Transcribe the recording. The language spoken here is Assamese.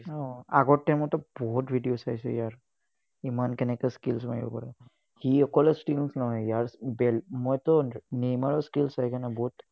উম আগৰ time তটো বহুত video চাইছো, ইয়াৰ। ইমান কেনেকৈ skills মাৰিব পাৰে, সি অকলে নহয়। ইয়াৰ , মইটো neimer ৰ skills চাই বহুত